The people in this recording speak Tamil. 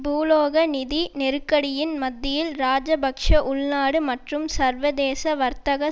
பூலோக நிதி நெருக்கடியின் மத்தியில் இராஜபக்ஷ உள்நடு மற்றும் சர்வதேச வர்த்தகச்